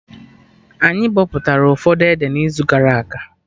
Anyị bọpụtara ụfọdụ ede na izu gara aga